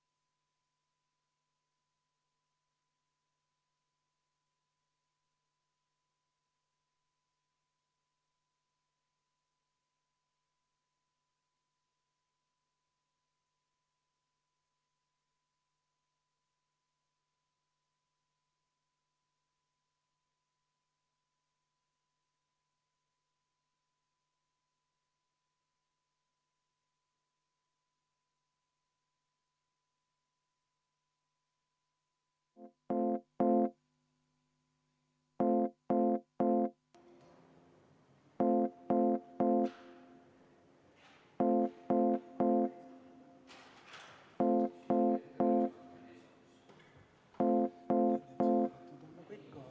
Järgmine on ettepanek nr 4, mille on esitanud rahanduskomisjon ja juhtivkomisjoni seisukoht on seda arvestada täielikult.